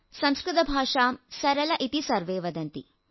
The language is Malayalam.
സംസ്കൃത ഭാഷാം സരളാ ഇതി സർവേ വദന്തി